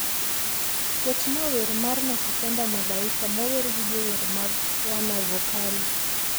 Ketnaa wer mar nakupenda malaika mower gi jower mag wanavokali